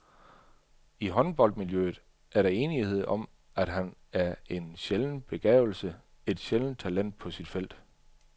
I håndboldmiljøet er der enighed om, at han er en sjælden begavelse, et sjældent talent på sit felt.